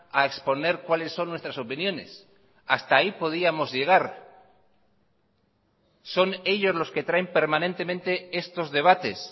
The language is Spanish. a exponer cuáles son nuestras opiniones hasta ahí podíamos llegar son ellos los que traen permanentemente estos debates